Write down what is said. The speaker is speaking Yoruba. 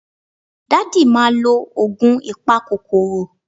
Daddy ma lo oogun ipakokoro